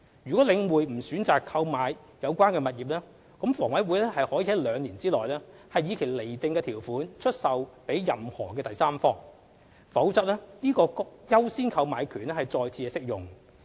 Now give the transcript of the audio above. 倘領匯不選擇購買有關物業，則房委會可於兩年內以其釐定的條款出售予任何第三方，否則該優先購買權將再次適用。